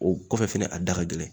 O kɔfɛ fɛnɛ a da ka gɛlɛn